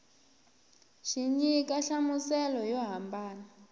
xi nyika nhlamuselo yo hambana